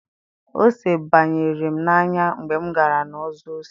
Ose banyere m n'anya mgbe m gara na-ọzọ ose.